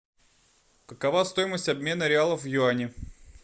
какова стоимость обмена реалов в юани